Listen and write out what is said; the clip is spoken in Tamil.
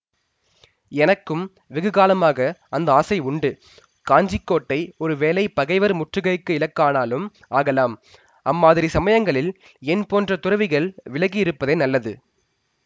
எனக்கும் வெகுகாலமாக அந்த ஆசை உண்டு காஞ்சி கோட்டை ஒரு வேளை பகைவர் முற்றுகைக்கு இலக்கானாலும் ஆகலாம் அம்மாதிரி சமயங்களில் என் போன்ற துறவிகள் விலகியிருப்பதே நல்லது